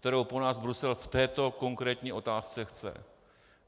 kterou po nás Brusel v této konkrétní otázce chce.